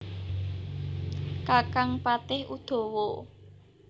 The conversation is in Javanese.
Kakang Patih Udawa